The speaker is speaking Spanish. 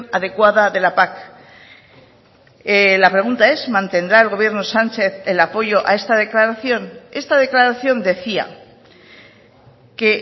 adecuada de la pac la pregunta es mantendrá el gobierno sánchez el apoyo a esta declaración esta declaración decía que